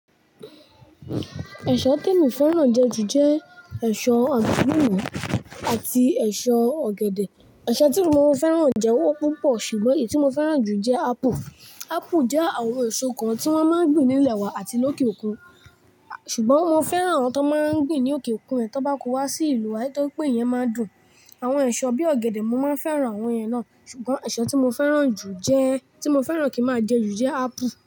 Ẹ̀ṣọ́ te mi fẹ́ràn jẹ jù jẹ ẹ̀ṣọ́ agbalumo àti ẹ̀ṣọ́ ọ̀gẹ̀dẹ̀. Ẹ̀ṣọ́ tí mo fẹ́ràn jẹ wọ́n púpọ̀ ṣùgbọ́n èyí tí mo fẹ́ràn jù jẹ́ ápple. Ápù jẹ́ àwọn ẹ̀ṣọ́ kan tí wọ́n máa ń gbin ní ilẹ̀ wa àti lókè òkun ṣùgbọ́n mo fẹ́ràn àwọn tó máa ń gbin ní òkè òkun ẹ́ tó bá kó wá sí ìlú wa Àì torí pé ìyẹn máa dùn. Àwọn ẹ̀ṣọ́ bí ọ̀gẹ̀dẹ̀, mo máa ń fẹ́ràn àwọn èyẹn náà ṣùgbọ́n ẹ̀ṣọ́ tí mo fẹ́ràn jù jẹ́, tí mo fẹ́ràn kí máa jẹ jù jẹ́ ápù.